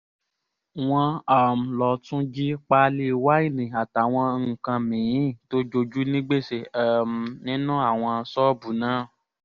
wọ́n um lọ tún jí páálí wáìnì àtàwọn nǹkan mì-ín tó jojú ní gbèsè um nínú àwọn ṣọ́ọ̀bù náà